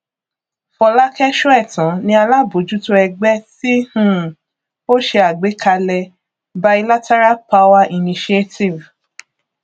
fọlákẹ sóẹtàn ni alábójútó ẹgbẹ tí um ó ṣe àgbékalẹ bilateral power initiative